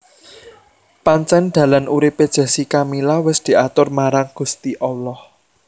Pancen dalan urip e Jessica Mila wis diatur marang Gusti Allah